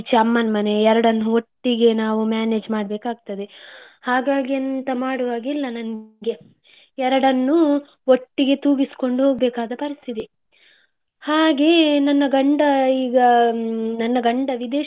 ಈಚೆ ಅಮ್ಮನ್ ಮನೆ ಎರಡು ಒಟ್ಟಿಗೆ ನಾವು manage ಮಾಡ್ಬೇಕ್ ಆಗ್ತದೆ, ಹಾಗಾಗಿ ಎಂತ ಮಾಡುವ ಹಾಗೆ ಇಲ್ಲ ನನ್ಗೆ ಎರಡನ್ನು ಒಟ್ಟಿಗೆ ತೂಗಿಸ್ಕೊಂಡು ಹೋಗ್ಬೇಕಾದ ಪರಿಸ್ಥಿತಿ ಹಾಗೆ ನನ್ನ ಗಂಡ ಈಗ ನನ್ನ ಗಂಡ ವಿದೇಶದಲ್ಲಿ.